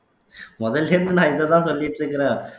முதல்ல இருந்து நான் இததான் சொல்லிட்டு இருக்கிறேன்